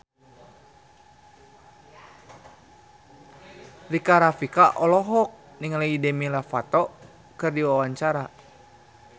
Rika Rafika olohok ningali Demi Lovato keur diwawancara